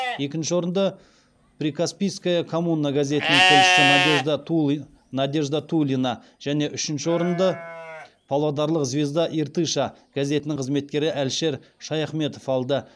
екінші орынды прикаспийская коммуна газетінің тілшісі надежда тулина және үшінші орынды павлодарлық звезда иртыша газетінің қызметкері әлішер шаяхметов алды